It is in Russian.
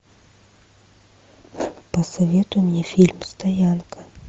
посоветуй мне фильм стоянка